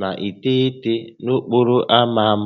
na iteghete na okporo ámá m